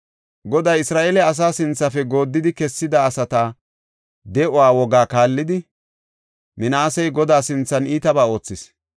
Goday Isra7eele asa sinthafe gooddidi kessida asata de7uwa wogaa kaallidi, Minaasey Godaa sinthan iitaba oothis.